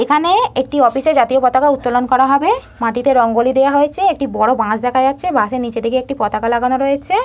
এখানে একটি অফিসে জাতীয় পতাকা উত্তোলন করা হবে মাটিতে রঙ্গোলি দেওয়া হয়েছে একটি বড় বাঁশ দেখা যাচ্ছে বাঁশের নিচের দিকে একটি পতাকা লাগানো রয়েছে ।